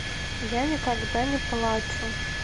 я никогда не плачу